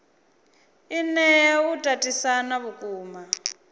i nea u tatisana vhukuma